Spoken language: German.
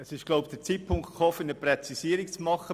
Nun ist wohl der Zeitpunkt für eine Präzisierung gekommen.